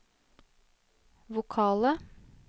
vokale